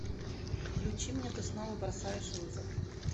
включи мне ты снова бросаешь вызов